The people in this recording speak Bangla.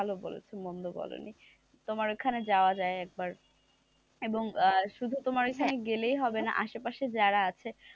ভালো বলেছো মন্দ বলোনি তোমার ওখানে যাওয়া যায় একবার এবং আহ শুধু তোমার ওখানে গেলেই হবে না আশেপাশে যারা আছে,